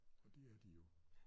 Og det er de jo